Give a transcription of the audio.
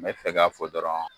N bɛ fɛ ka fɔ dɔrɔn